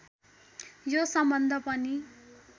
यो सम्बन्ध पनि